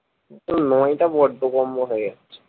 তোর নয়টা বড্ডো কম মনে হচ্ছে